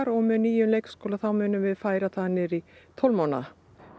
og með nýjum leikskóla þá munum við færa það niður í tólf mánaða